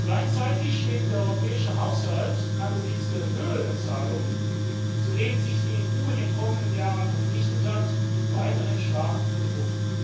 Gleichzeitig steht der europäische Haushalt angesichts der Höhe der Zahlungen, zu denen sich die EU in den kommenden Jahren verpflichtet hat, weiterhin stark unter Druck.